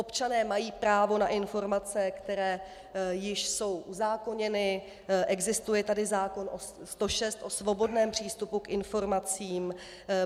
Občané mají právo na informace, které již jsou uzákoněny, existuje tady zákon 106 o svobodném přístupu k informacím.